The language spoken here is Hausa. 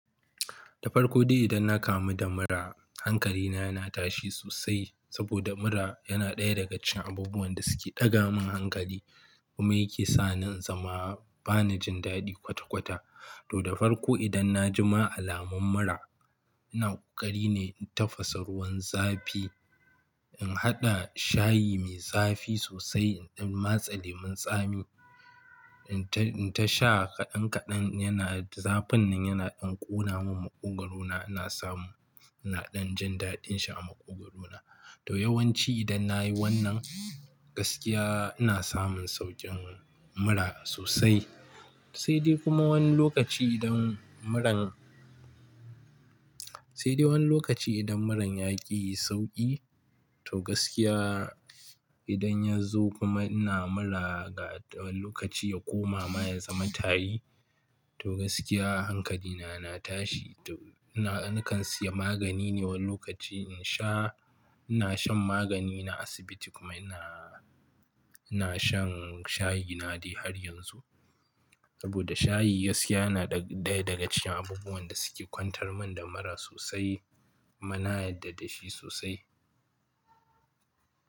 Da farko dai idan na kamu da mura, hankali na yana tashi sosai saboda mura yana ɗaya daga cikin abubuwan da suke ɗaga min hankali kuma yake sa ni na zama bana jin daɗi kwata-kwata. To, da farko idan na jima alamun mura, ina ƙoƙari ne in tafasa ruwan zafi, in haɗa shayi mai zafi sosai, in dan matsa lemun tsami, in ta sha kaɗan-kaɗan yana, zafin nan yana ɗan ƙona min maƙwogaro na, ina samu, ina ɗan jin daɗin shi a maƙwogaro na. To yawanci idan na yi wannan gaskiya ina samun saukin mura sosai. Sai dai kuma wani lokaci idan muran, sai dai wani lokaci idan muran yaƙi sauƙi, to gaskiya idan ya zo kuma ina mura ga wani lokaci ya koma ma ya zama tari, to gaskiya hankali na yana tashi. To ina, nakan siya magani ne wani lokaci in sha. Ina shan magani na asibiti kuma ina, ina shan shayi na dai har yanzu. Saboda shayi gaskiya yana ɗaya daga cikin abubuwan da suke kwantar min da mura sosai. Kuma na yarda da shi sosai.